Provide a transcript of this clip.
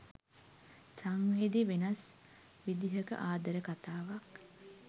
සංවේදී වෙනස් විදිහක ආදර කතාවක්.